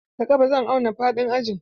Da ƙafa zan auna faɗin ajin.